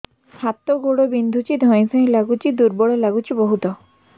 ହାତ ଗୋଡ ବିନ୍ଧୁଛି ଧଇଁସଇଁ ଲାଗୁଚି ଦୁର୍ବଳ ଲାଗୁଚି ବହୁତ